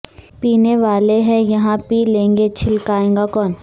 پینے والے ہے یہاں پی لیں گے چھلکائے گا کون